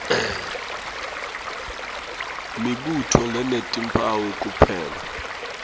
mibuto lenetimphawu kuphela